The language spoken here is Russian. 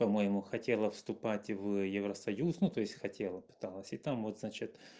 по-моему хотела вступать в евросоюз ну то есть хотела пыталась и там вот значит